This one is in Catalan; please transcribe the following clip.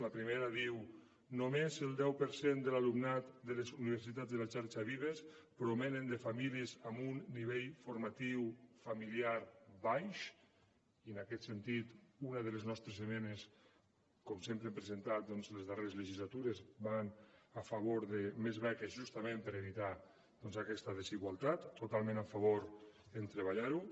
la primera diu només el deu per cent de l’alumnat de les universitats de la xarxa vives provenen de famílies amb un nivell formatiu familiar baix i en aquest sentit una de les nostres esmenes com sempre hem presentat les darreres legislatures va a favor de més beques justament per evitar aquesta desigualtat totalment a favor de treballar ho